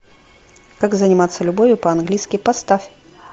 как заниматься любовью по английски поставь